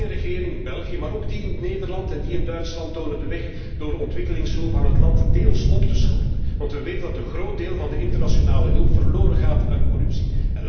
Mijn regering in België, maar ook die in Nederland en Duitsland tonen de weg door ontwikkelingshulp aan het land deels op te schorten, want we weten dat een groot deel van de internationale hulp verloren gaat aan corruptie.